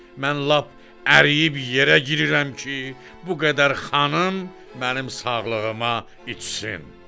Mən lap əriyib yerə girirəm ki, bu qədər xanım mənim sağlığıma içsin.